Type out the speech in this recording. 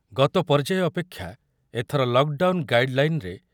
ଗତ ପର୍ଯ୍ୟାୟ ଅପେକ୍ଷା ଏଥର ଲକ୍ ଡାଉନ୍ ଗାଇଡ୍ ଲାଇନ୍‌ ରେ